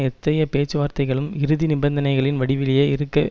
எத்தகைய பேச்சுவார்த்தைகளும் இறுதி நிபந்தனைகளின் வடிவிலேயே இருக்க